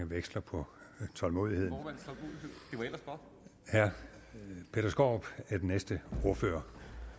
veksler på tålmodigheden herre peter skaarup er den næste ordfører